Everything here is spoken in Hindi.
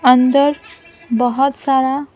अंदर बहुत सारा --